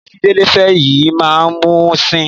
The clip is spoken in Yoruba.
Ìyàwó tí Délé fẹ́ fẹ́ yìí máa mú un sìn.